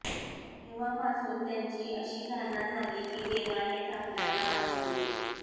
तेव्हापासून त्यांची अशी धारणा झाली की देवानेच आपल्याला वाचविले